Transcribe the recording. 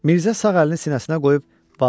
Mirzə sağ əlini sinəsinə qoyub "Var olun" dedi.